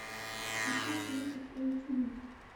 поставь ленту кто эти люди